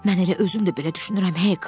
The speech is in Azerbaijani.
Mən elə özüm də belə düşünürəm, Hek.